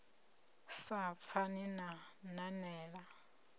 ni sa pfani na nanela